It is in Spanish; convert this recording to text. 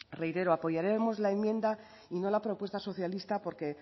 reitero apoyaremos la enmienda y no la propuesta socialista porque